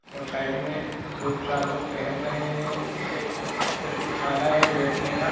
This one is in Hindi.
और साइड मे दो चार लोग टहल रहे हैं एक प्रतीक्षालय हैँ बैठने का।